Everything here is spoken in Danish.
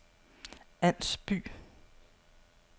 Ans By